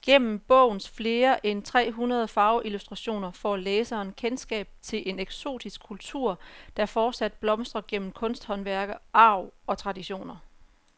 Gennem bogens flere end tre hundrede farveillustrationer får læseren kendskab til en eksotisk kultur, der fortsat blomstrer gennem kunsthåndværk, arv og traditioner.